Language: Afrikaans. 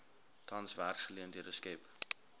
tans werksgeleenthede skep